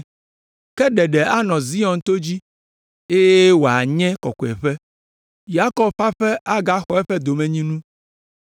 Ka ɖeɖe anɔ Zion to dzi eye wòanye kɔkɔeƒe. Yakob ƒe aƒe agaxɔ eƒe domenyinu.